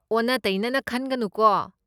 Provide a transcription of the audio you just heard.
ꯑꯣꯟꯅ ꯇꯩꯅꯅ ꯈꯟꯒꯅꯨꯀꯣ?